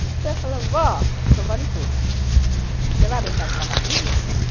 Então, eu falo, vó, sou vó de todos, você vai brincar de cavalinho?